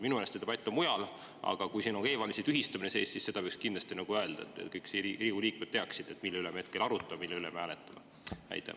Minu meelest see debatt mujal, aga kui siin on ka e‑valimiste tühistamine sees, siis võiks seda kindlasti öelda, et kõik Riigikogu liikmed teaksid, mille üle me hetkel arutame ja mille üle me hääletama hakkame.